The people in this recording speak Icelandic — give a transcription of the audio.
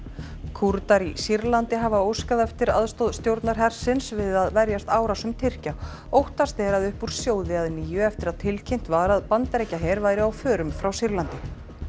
Kúrdar í Sýrlandi hafa óskað eftir aðstoð stjórnarhersins við að verjast árásum Tyrkja óttast er að upp úr sjóði að nýju eftir að tilkynnt var að Bandaríkjaher væri á förum frá Sýrlandi